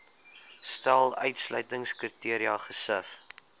stel uitsluitingskriteria gesif